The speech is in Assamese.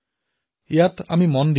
ইয়াৰ প্ৰতি সদায়েই লক্ষ্য ৰাখিব লাগে